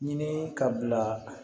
Ɲini ka bila